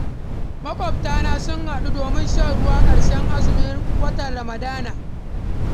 Maƙwabta sun haɗu domin shan ruwan ƙarshen azumin watan Ramadana.